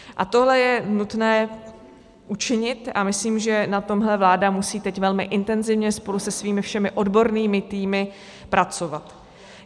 A tohle je nutné učinit a myslím, že na tomhle vláda musí teď velmi intenzivně spolu se svými všemi odbornými týmy pracovat.